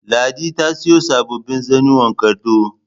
Ladi ta siyo sababbin zannuwan gado